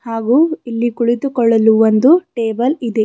ಹಾಗೂ ಇಲ್ಲಿ ಕುಳಿತುಕೊಳ್ಳಲು ಒಂದು ಟೇಬಲ್ ಇದೆ.